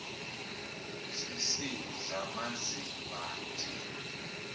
sisidl amazimba nje